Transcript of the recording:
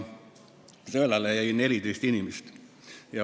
Sõelale jäi 14 inimest.